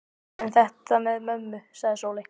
En þetta með mömmu, sagði Sóley.